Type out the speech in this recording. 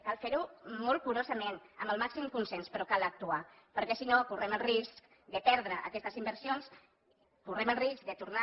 cal fer ho molt curosament amb el màxim consens però cal actuar perquè si no correm el risc de perdre aquestes inversions correm el risc de tornar